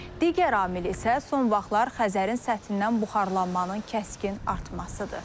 Digər amil isə son vaxtlar Xəzərin səthindən buxarlanmanın kəskin artmasıdır.